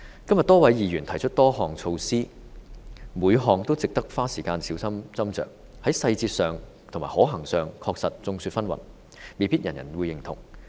今天多位議員提出多項措施，每項都值得花時間小心斟酌，在細節上和可行性上確實眾說紛紜，未必人人認同。